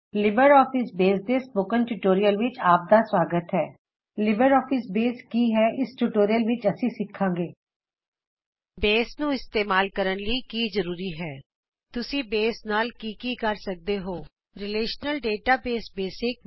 Libre office Base ਤੇ spoken tutorial ਵਿੱਚ ਆਪ ਦਾ ਸਵਾਗਤ ਹੈ ਇਸ ਟਯੂਟੋਰਿਯਲ ਵਿੱਚ ਅਸੀ ਸਿੱਖਾੰਗੇ ਲਿਬਰ ਔਫਿਸ ਬੇਸ ਕੀ ਹੈ ਬੇਸ ਨੂੰ ਇਸਤੇਮਾਲ ਕਰਨ ਲਈ ਕੀ ਹੋਨਾ ਜ਼ਰੂਰੀ ਹੈ ਤੁਸੀ ਬੇਸ ਨਾਲ ਕੀ ਕਰ ਸਕਦੇ ਹੋ160 ਰਿਲੇਸ਼ਨਲ ਡੇਟਾਬੇਸ ਬੇਸਿਕਸ